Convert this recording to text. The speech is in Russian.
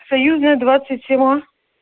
союзная двадцать семь а